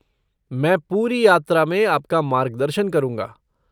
मैं पूरी यात्रा में आपका मार्गदर्शन करूँगा।